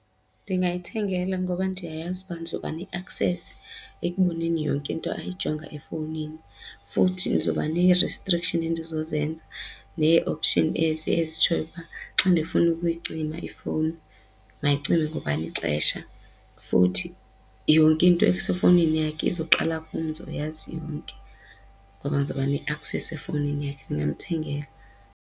Ndingayithengela ngoba ndiyayazi uba ndizoba ne-access ekuboneni yonke into ayijonga efowunini futhi ndizoba nee-restriction endizozenza nee-option ezi ezitshoyo uba xa ndifuna ukuyicima ifowuni mayicime ngobani ixesha. Futhi yonke into esefowunini yakhe uzoqala kum ndizoyazi yonke ngoba ndizoba ne-access efowunini yakhe, ndingamthengela.